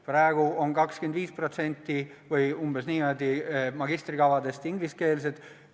Praegu on umbes 25% magistrikavadest ingliskeelsed.